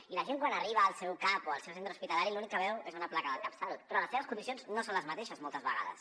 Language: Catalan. i la gent quan arriba al seu cap o al seu centre hospitalari l’únic que veu és una placa del catsalut però les seves condicions no són les mateixes moltes vegades